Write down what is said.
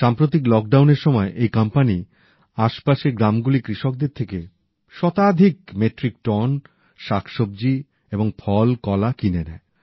সাম্প্রতিক লকডাউন এর সময় এই কোম্পানি আশপাশের গ্রামগুলির কৃষকদের থেকে শতাধিক মেট্রিক টন শাকসব্জি এবং ফল কলা কিনে নেয়